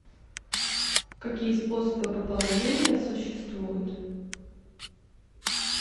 какие способы пополнения существуют